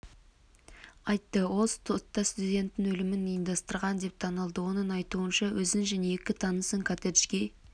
айтты ол сотта студент өлімін ұйымдастырған деп танылды оның айтуынша өзін және екі танысын коттеджге